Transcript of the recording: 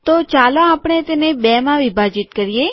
તો ચાલો આપણે તેને બેમાં વિભાજીત કરીએ